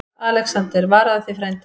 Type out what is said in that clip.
ALEXANDER: Varaðu þig, frændi.